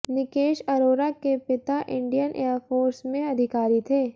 निकेश अरोरा के पिता Indian air force में अधिकारी थे